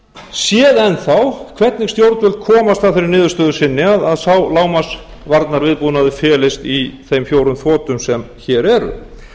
enn þá hvernig stjórnvöld komast að þeirri niðurstöðu sinni að sá lágmarks varnarviðbúnaður felist í þeim fjórum þotum sem hér eru